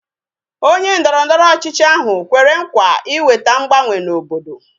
Onye ndọrọndọrọ ọchịchị ahụ kwere nkwa ịweta mgbanwe na obodo